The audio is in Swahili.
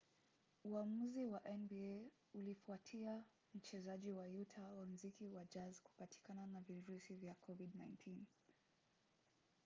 uamuzi wa nba ulifuatia mchezaji wa utah wa mziki wa jazz kupatikana na virusi vya covid-19